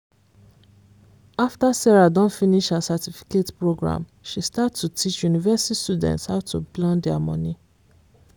after sarah don finish her certificate program she start to teach university students how to plan their money.